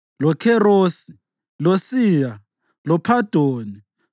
loKherosi, loSiya, loPhadoni,